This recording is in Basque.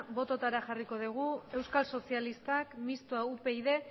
bototara jarriko dugu euskal sozialistak mistoa upyd